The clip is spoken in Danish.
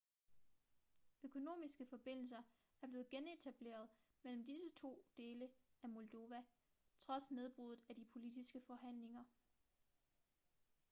økonomiske forbindelser er blevet genetableret mellem disse to dele af moldova trods nedbruddet i de politiske forhandlinger